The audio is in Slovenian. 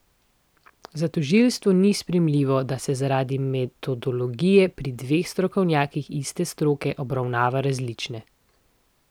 Za tožilstvo ni sprejemljivo, da so zaradi metodologije pri dveh strokovnjakih iste stroke obravnave različne.